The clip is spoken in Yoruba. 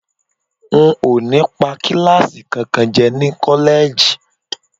N ò ní pa kíláàsì kankan jẹ́ ní kọ́lẹ́ẹ̀jì